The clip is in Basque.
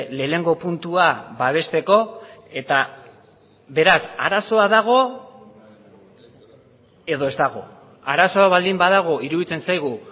lehenengo puntua babesteko eta beraz arazoa dago edo ez dago arazoa baldin badago iruditzen zaigu